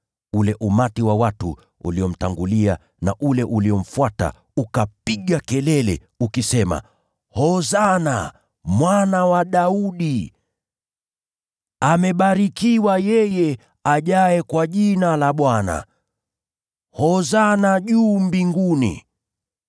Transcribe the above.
Ule umati wa watu uliomtangulia na ule uliomfuata ukapiga kelele ukisema, “Hosana, Mwana wa Daudi!” “Amebarikiwa yeye ajaye kwa Jina la Bwana!” “Hosana juu mbinguni!”